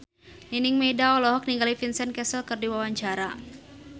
Nining Meida olohok ningali Vincent Cassel keur diwawancara